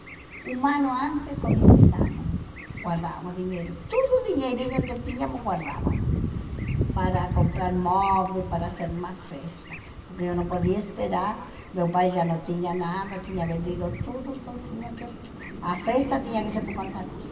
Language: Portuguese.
Um ano antes começamos, guardávamos dinheiro, tudo dinheirinho que tínhamos guardávamos, para comprar móveis, para fazer uma festa, porque eu não podia esperar, meu pai já não tinha nada, tinha vendido tudo, então tinha que, a festa tinha que ser por conta nossa.